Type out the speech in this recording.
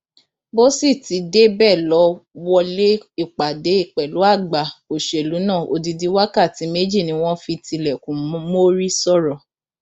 bó sì ti débẹ lọ wọlé ìpàdé pẹlú àgbà òṣèlú náà odidi wákàtí méjì ni wọn fi tilẹkùn mórí sọrọ